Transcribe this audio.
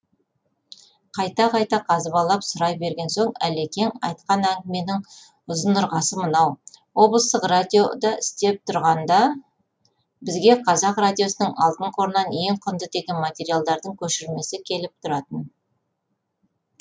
қайта қайта қазбалап сұрай берген соң әлекең айтқан әңгіменің ұзынырғасы мынау облыстық радиода істеп тұрғанда бізге қазақ радиосының алтын қорынан ең құнды деген материалдардың көшірмесі келіп тұратын